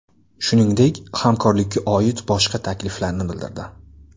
Shuningdek, hamkorlikka oid boshqa takliflarni bildirdi.